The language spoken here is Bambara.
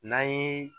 N'an ye